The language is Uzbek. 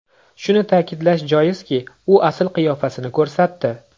Shuni ta’kidlash joizki, u asl qiyofasini ko‘rsatdi.